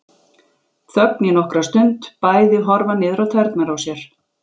Þögn í nokkra stund, bæði horfa niður á tærnar á sér.